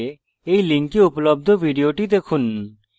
এই link উপলব্ধ video দেখুন